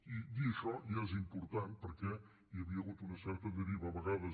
i dir això ja és important perquè hi havia hagut una certa deriva a vegades